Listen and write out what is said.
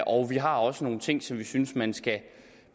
og vi har også nogle ting som vi synes man skal